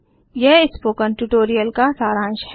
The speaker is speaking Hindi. यह स्पोकन ट्यूटोरियल का सारांश है